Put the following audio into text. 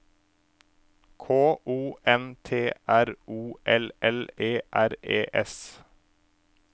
K O N T R O L L E R E S